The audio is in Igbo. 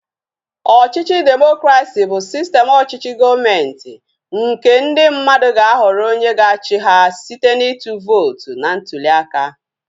Ọchịchị demokresi bụ sistem ọchịchị gọọmenti nke ndị mmadụ ga-ahọrọ onye ga-achị ha site na ịtụ vootu na ntuliaka